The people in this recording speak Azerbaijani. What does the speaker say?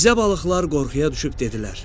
Rizə balıqlar qorxuya düşüb dedilər: